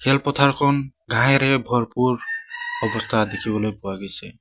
পথাৰখন ঘাঁহেৰে ভৰপূৰ অৱস্থা দেখিবলৈ পোৱা গৈছে।